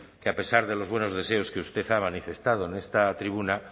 que a pesar de los buenos deseos que usted ha manifestado en esta tribuna